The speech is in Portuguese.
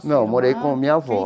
Não, eu morei com a minha avó.